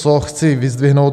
Co chci vyzdvihnout?